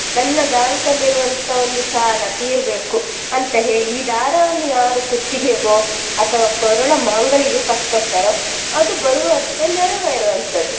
ನನ್ನ bank ಅಲ್ಲಿ ಇರುವಂತಹ ಒಂದು ಸಾಲ ತೀರ್ಬೇಕು ಅಂತ ಹೇಳಿ ಈ ದಾರವನ್ನು ಯಾರು ಕುತ್ತಿಗೆಗೋ ಅಥವಾ ಕೊರಳ ಮಾಂಗಲ್ಯಕ್ಕೆ ಕಟ್ಕೊಳ್ತಾರೋ ಅದು ಬರುವ ವರ್ಷ ನೆರವೇರುವಂತದ್ದು.